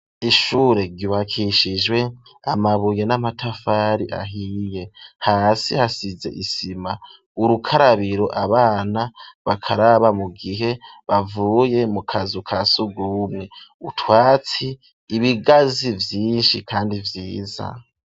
Ishure ryubakishijwe amabuye n'amatafari ahiye hasi hasize isima urukarabiro abana bakaraba mu gihe bavuye mu kazu ka sugumwe utwatsi ibigazi byinshi kandi vyiza.